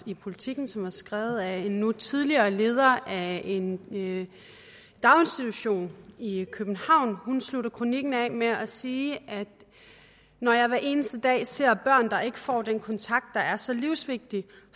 i politiken som var skrevet af en nu tidligere leder af en daginstitution i københavn hun slutter kronikken af med at sige når jeg hver eneste dag ser børn der ikke får den kontakt der er så livsvigtig